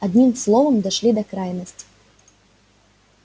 одним словом дошли до крайности